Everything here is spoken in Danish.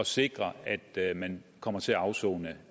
sikret at man kommer til at afsone